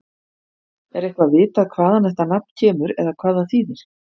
Er eitthvað vitað hvaðan þetta nafn kemur eða hvað það þýðir?